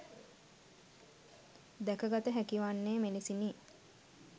දැකගත හැකිවන්නේ මෙලෙසිනි.